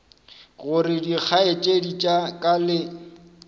gore dikgaetšedi tša ka le